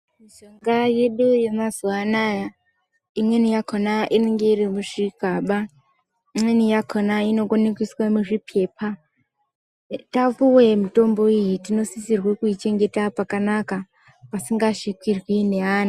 Mishonga yedu yemazuwa anaya imweni yakona inenge iri muzvigaba imweni yakona inokona kuiswe muzvipepa tapiwe mitombo iyi tinosisa kuichengeta pakanaka pasingazvikirwi neana.